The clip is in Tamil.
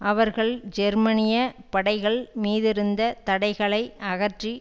அவர்கள் ஜெர்மனிய படைகள் மீதிருந்த தடைகளை அகற்றி